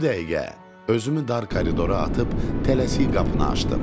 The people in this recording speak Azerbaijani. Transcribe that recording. Bu dəqiqə özümü dar koridora atıb tələsi qapını açdım.